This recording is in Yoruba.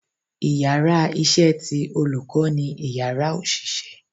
íyarà iṣẹ tí olukọ ni Ìyàrá osiṣẹ